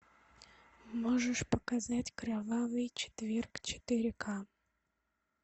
можешь показать кровавый четверг четыре ка